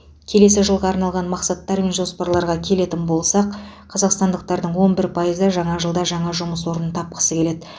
келесі жылға арналған мақсаттар мен жоспарларға келетін болсақ қазақстандықтардың он бір пайызы жаңа жылда жаңа жұмыс орнын тапқысы келеді